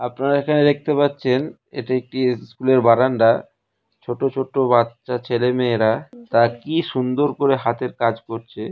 আমার এখানে দেখতে পাচ্ছেন এটি একটি স্কুলে -এর বারান্দা ছোট বাচ্চা ছেলে মেয়েরা তা কি সুন্দর করে হাতের কাজ করছে।